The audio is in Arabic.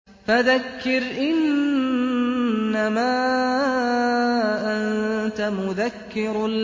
فَذَكِّرْ إِنَّمَا أَنتَ مُذَكِّرٌ